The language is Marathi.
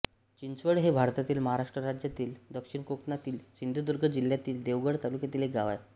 चिंचवड हे भारतातील महाराष्ट्र राज्यातील दक्षिण कोकणातील सिंधुदुर्ग जिल्ह्यातील देवगड तालुक्यातील एक गाव आहे